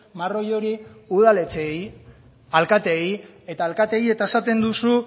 marroi hori udaletxeei alkateei eta alkateei eta esaten duzu